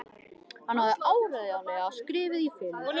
Hann hafði áreiðanlega skriðið í felur.